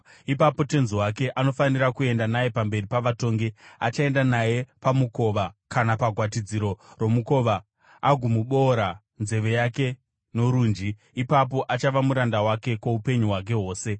ipapo tenzi wake anofanira kuenda naye pamberi pavatongi. Achaenda naye pamukova kana pagwatidziro romukova agomuboora nzeve yake norunji. Ipapo achava muranda wake kwoupenyu hwake hwose.